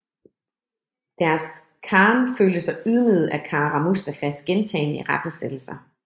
Deres khan følte sig ydmyget af Kara Mustafas gentagne irettesættelser